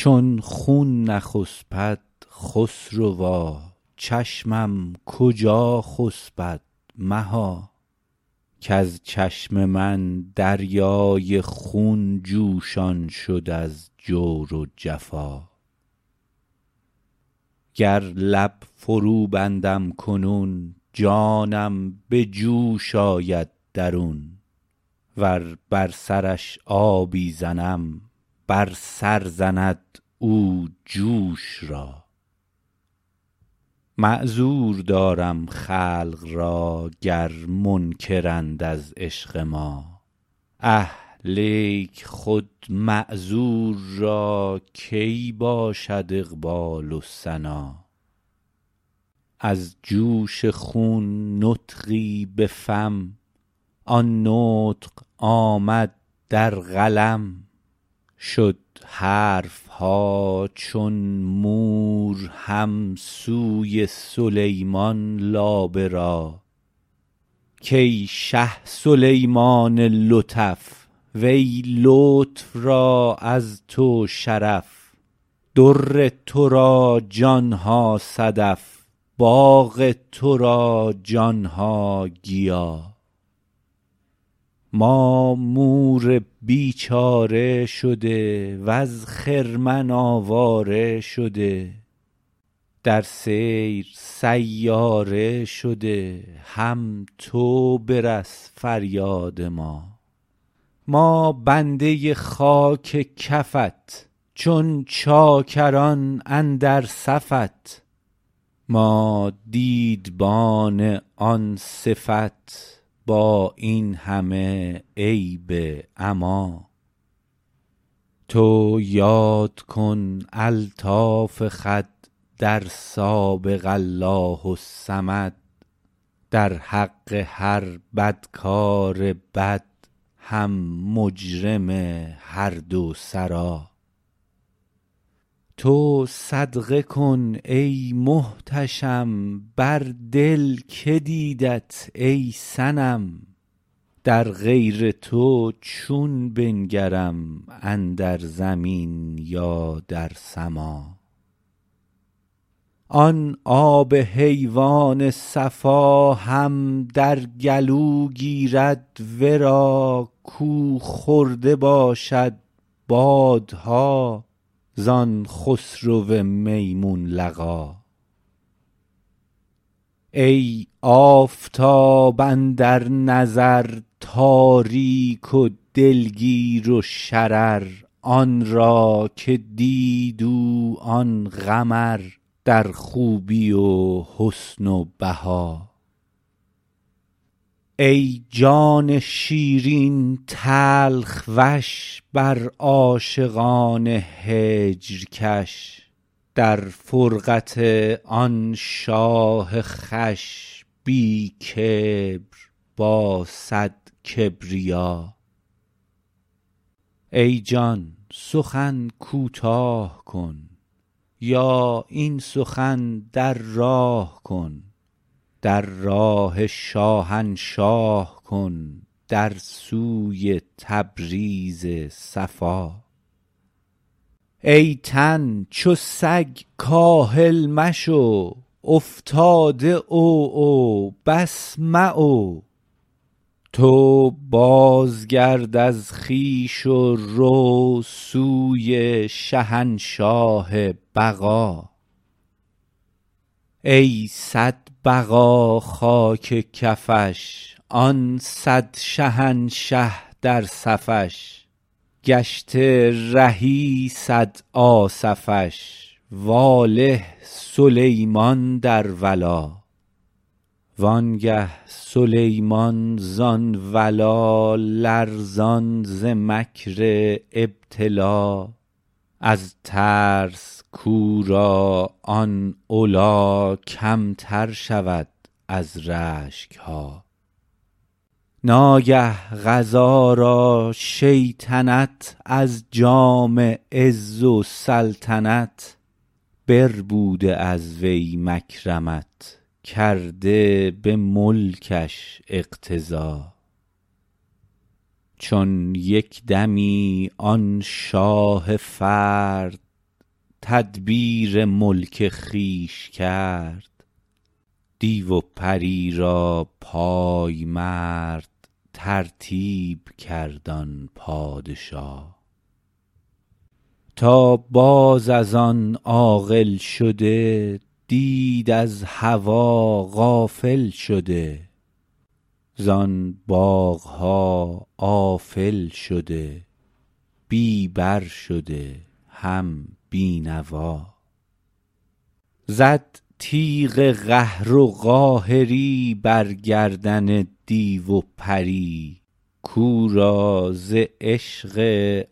چون خون نخسپد خسروا چشمم کجا خسپد مها کز چشم من دریای خون جوشان شد از جور و جفا گر لب فروبندم کنون جانم به جوش آید درون ور بر سرش آبی زنم بر سر زند او جوش را معذور دارم خلق را گر منکرند از عشق ما اه لیک خود معذور را کی باشد اقبال و سنا از جوش خون نطقی به فم آن نطق آمد در قلم شد حرف ها چون مور هم سوی سلیمان لابه را کای شه سلیمان لطف وی لطف را از تو شرف در تو را جان ها صدف باغ تو را جان ها گیا ما مور بیچاره شده وز خرمن آواره شده در سیر سیاره شده هم تو برس فریاد ما ما بنده خاک کفت چون چاکران اندر صفت ما دیدبان آن صفت با این همه عیب عما تو یاد کن الطاف خود در سابق الله الصمد در حق هر بدکار بد هم مجرم هر دو سرا تو صدقه کن ای محتشم بر دل که دیدت ای صنم در غیر تو چون بنگرم اندر زمین یا در سما آن آب حیوان صفا هم در گلو گیرد ورا کو خورده باشد باده ها زان خسرو میمون لقا ای آفتاب اندر نظر تاریک و دلگیر و شرر آن را که دید او آن قمر در خوبی و حسن و بها ای جان شیرین تلخ وش بر عاشقان هجر کش در فرقت آن شاه خوش بی کبر با صد کبریا ای جان سخن کوتاه کن یا این سخن در راه کن در راه شاهنشاه کن در سوی تبریز صفا ای تن چو سگ کاهل مشو افتاده عوعو بس معو تو بازگرد از خویش و رو سوی شهنشاه بقا ای صد بقا خاک کفش آن صد شهنشه در صفش گشته رهی صد آصفش واله سلیمان در ولا وانگه سلیمان زان ولا لرزان ز مکر ابتلا از ترس کو را آن علا کمتر شود از رشک ها ناگه قضا را شیطنت از جام عز و سلطنت بربوده از وی مکرمت کرده به ملکش اقتضا چون یک دمی آن شاه فرد تدبیر ملک خویش کرد دیو و پری را پای مرد ترتیب کرد آن پادشا تا باز از آن عاقل شده دید از هوا غافل شده زان باغ ها آفل شده بی بر شده هم بی نوا زد تیغ قهر و قاهری بر گردن دیو و پری کو را ز عشق